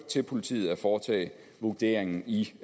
til politiet at foretage vurderingen i